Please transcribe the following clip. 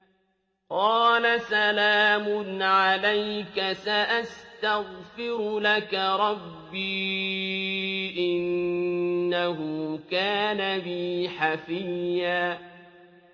قَالَ سَلَامٌ عَلَيْكَ ۖ سَأَسْتَغْفِرُ لَكَ رَبِّي ۖ إِنَّهُ كَانَ بِي حَفِيًّا